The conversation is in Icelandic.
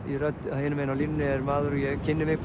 hinum megin á línunni er maður og ég kynni mig